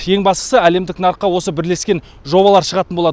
ең бастысы әлемдік нарыққа осы бірлескен жобалар шығатын болады